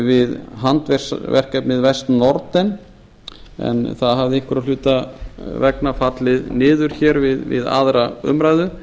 við handverksverkefnið besta norden en það hafði einhverra hluta vegna fallið niður við aðra umræðu